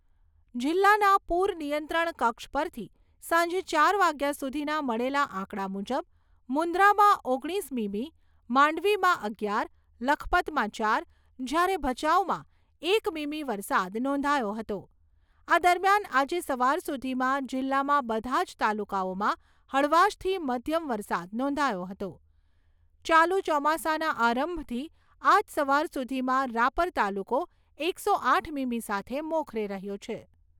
જિલ્લાના પૂર નિયંત્રણ કક્ષ પરથી સાંજે ચાર વાગ્યા સુધીના મળેલા આંકડા મુજબ મુન્દ્રામાં ઓગણીસ મીમી, માંડવીમાં અગિયાર, લખપતમાં ચાર, જ્યારે ભચાઉમાં એક મીમી વરસાદ નોંધાયો હતો. આ દરમિયાન આજે સવાર સુધીમાં જિલ્લામાં બધા જ તાલુકાઓમાં હળવાશથી મધ્યમ વરસાદ નોંધાયો હતો. ચાલુ ચોમાસાના આરંભથી આજ સવાર સુધીમાં રાપર તાલુકો એકસો આઠ મીમી સાથે મોખરે રહ્યો છે.